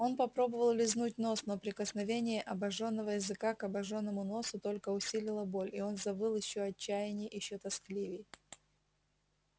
он попробовал лизнуть нос но прикосновение обожённого языка к обожжённому носу только усилило боль и он завыл ещё отчаянней ещё тоскливей